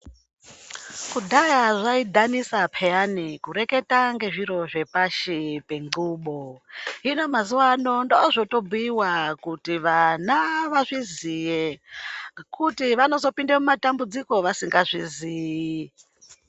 Kudhaya zvaidhanisa peyani kureketa ngezviro zvepashi penxubo. Hino mazuwano ndozvotobhuyiwa kuti vana vazviziye ngekuti vanozopinde mumatambudziko vasingazviziyi.